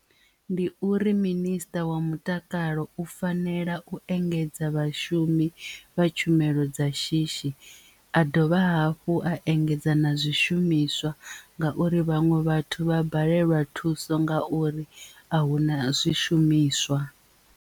Ndi uri minister wa mutakalo u fanela u engedza vhashumi vha tshumelo dza shishi a dovha hafhu a engedza na zwishumiswa ngauri vhaṅwe vhathu vha balelwa thuso nga uri ahuna zwishumiswa.